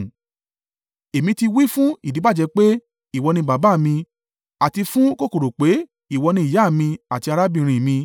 Èmi ti wí fún ìdíbàjẹ́ pé, ìwọ ni baba mi, àti fún kòkòrò pé, ìwọ ni ìyá mi àti arábìnrin mi,